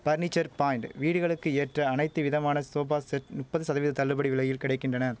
furniture point வீடுகளுக்கு ஏற்ற அனைத்து விதமான சோபா செட் நுப்பது சதவீத தள்ளுபடி விலையில் கிடை கின்றன